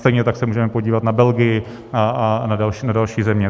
Stejně tak se můžeme podívat na Belgii a na další země.